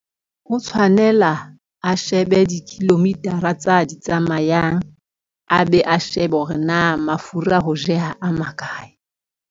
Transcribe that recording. Ho tshwanela a shebe di-kilometer-a tse a di tsamayang, a be a shebe hore na mafura ho jeha a makae.